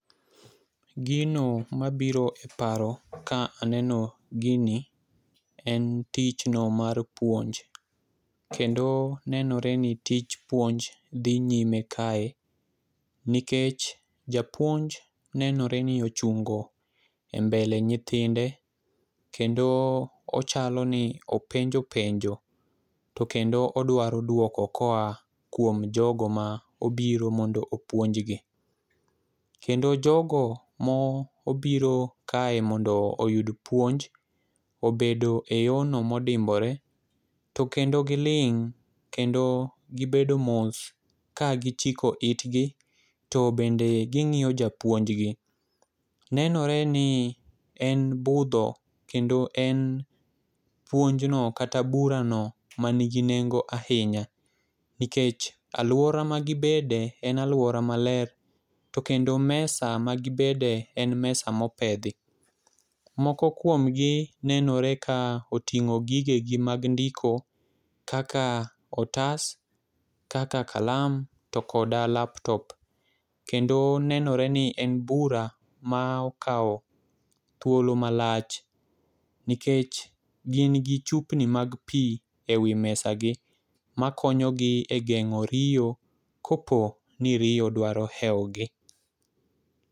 Gino mabiro e paro ka aneno gini en tich no mar puonj. Kendo nenore ni tich puonj dhi nyime kae nikech japuonj nenore ni ochungo e mbele nyithinde kendo ochalo ni openjo penjo. To kendo odwaro duoko koa kuom jogo ma obiro mondo opuonjgi, kendo jogo ma obiro kae mondo oyud puonj obedo e yoo no modimbore to kendo giling' kendo gibedo mos ka gichiko itgi .To bende ging'iyo japuonj gi .Nenore ni en budho kendo en puonjno kata bura no manigi nengo ahinya nikech aluora ma gibede en aluora maler to kendo mesa ma gibede en mesa mopedhi. Moko kuom gi nenore ka oting'o gige gi mag ndiko kaka otas, kaka kalam to koda laptop kendo nenore ni en bura ma okawo thuolo malach nikech gin gi chupni mag pii ewi mesa gi makonyo gi e geng'o riyo kapo ni riyo dwaro ewo gi.